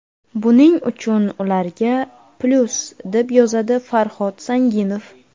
Buning uchun ularga plyus”, deb yozadi Farhod Sanginov.